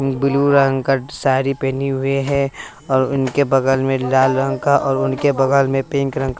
blue रंग का साड़ी पहनी हुई हैं और इनके बगल में लाल रंग का और उनके बगल में पिंक रंग का--